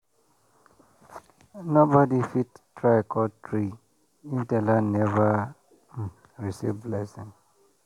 nobody fit try cut tree if the land never um receive blessing.